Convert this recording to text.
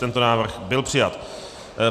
Tento návrh byl přijat.